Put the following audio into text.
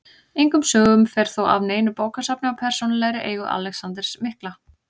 Engum sögum fer þó af neinu bókasafni í persónulegri eigu Alexanders mikla.